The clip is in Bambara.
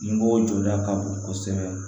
Ɲɛmɔgɔw jɔda ka bon kosɛbɛ